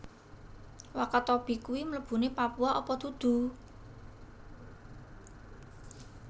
Wakatobi kui mlebune Papua apa dudu?